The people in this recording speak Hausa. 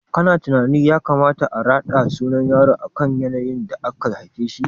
Kana tunanin ya kamata a raɗa sunan yaro akan yanayin da aka haife shi?